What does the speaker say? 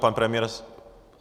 Pan premiér...